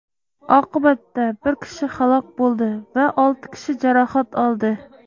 Oqibatda bir kishi halok bo‘ldi va olti kishi jarohat oldi.